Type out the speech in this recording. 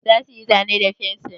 Za su yi zane da fensir?